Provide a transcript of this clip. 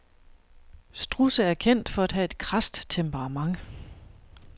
Strudse er kendt for at have et krast temperament.